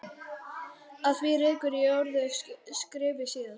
Að því rekur í öðru skrifi síðar.